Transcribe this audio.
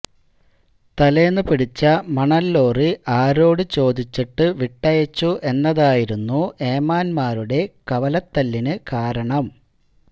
തലേന്നു പിടിച്ച മണല് ലോറി ആരോട് ചോദിച്ചിട്ട് വിട്ടയച്ചു എന്നതായിരുന്നു ഏമാന്മാരുടെ കവലത്തല്ലിന് കാരണം